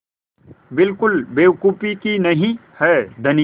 बिल्कुल बेवकूफ़ी नहीं है धनी